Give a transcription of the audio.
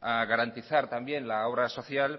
a garantizar también la obra social